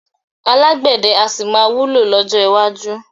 Alágbẹ̀dẹ́ a sì máa wúlò lọ́jọ́ iwájú